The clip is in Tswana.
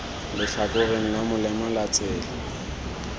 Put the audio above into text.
letlhakoreng la molema la tsela